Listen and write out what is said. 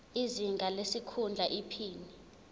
izinga lesikhundla iphini